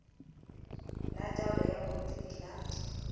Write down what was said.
la taolo ya borutegi la